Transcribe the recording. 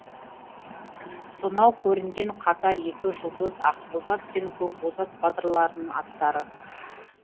сонау көрінген қатар екі жұлдыз ақбозат пен көкбозат батырлардың аттары